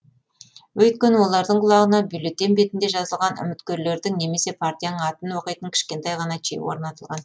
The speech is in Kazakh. өйткені олардың құлағына бюллетень бетінде жазылған үміткерлердің немесе партияның атын оқитын кішкентай ғана чип орнатылған